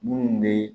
Munnu be